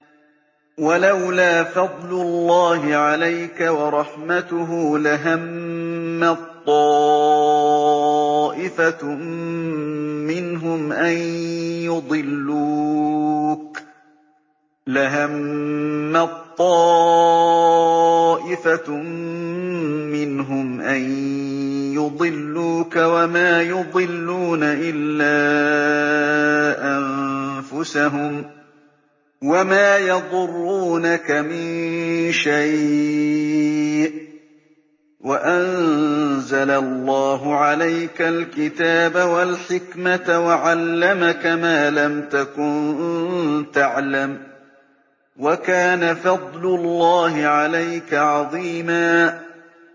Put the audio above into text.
وَلَوْلَا فَضْلُ اللَّهِ عَلَيْكَ وَرَحْمَتُهُ لَهَمَّت طَّائِفَةٌ مِّنْهُمْ أَن يُضِلُّوكَ وَمَا يُضِلُّونَ إِلَّا أَنفُسَهُمْ ۖ وَمَا يَضُرُّونَكَ مِن شَيْءٍ ۚ وَأَنزَلَ اللَّهُ عَلَيْكَ الْكِتَابَ وَالْحِكْمَةَ وَعَلَّمَكَ مَا لَمْ تَكُن تَعْلَمُ ۚ وَكَانَ فَضْلُ اللَّهِ عَلَيْكَ عَظِيمًا